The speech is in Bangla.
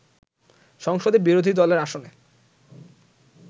সংসদে বিরোধী দলের আসনে